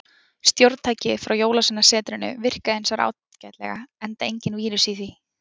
Stjórntækið frá jólsveinasetrinu virkaði hins vegar ágætlega, enda enginn vírus í því.